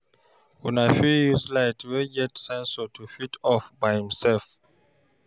Una fit use light wey get sensor to fit off by im self